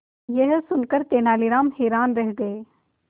यह सुनकर तेनालीराम हैरान रह गए